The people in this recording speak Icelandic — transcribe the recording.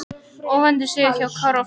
Óvæntur sigur hjá Kára og félögum